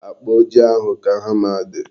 Akpa ojii ahụ ka hama dị.